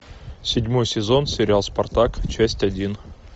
седьмой сезон сериал спартак часть один